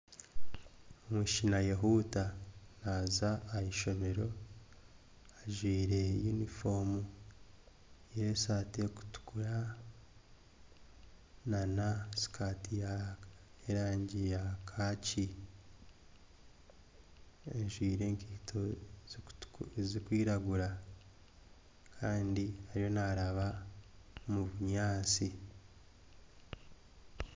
Omwishiki naayehuuta naaza ah'eishomero ajwaire yunifoomu y'esaati erikutukura na sikaati ya y'erangi ya kaaki. Ajwaire enkaito zirikwiragura kandi ariyo naaraba omu bunyaatsi.